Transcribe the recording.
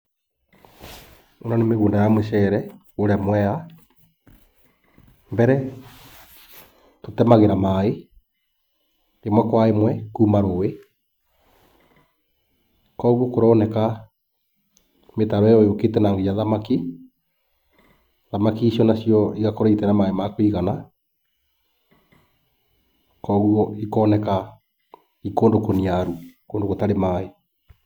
Ĩno nĩ mĩgũnda ya mĩcere kũrĩa mweya. Mbere tũtemagĩra maaĩ ĩmwe kwa ĩmwe kuuma rũĩ. Kwoguo kũĩroneka mĩtaro ĩyo ĩũkĩte na nginagia thamaki, thamaki icio na cio igakorũo citarĩ na maaĩ makũigana kwoguo ikoneka i kũndũ kũniaru kũndũ gũtarĩ maaĩ.